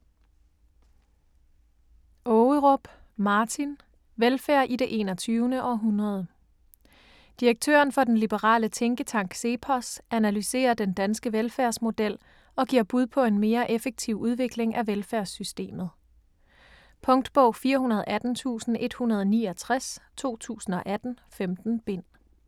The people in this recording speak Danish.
Ågerup, Martin: Velfærd i det 21. århundrede Direktøren for den liberale tænketank CEPOS analyserer den danske velfærdsmodel og giver bud på en mere effektiv udvikling af velfærdssystemet. Punktbog 418169 2018. 15 bind.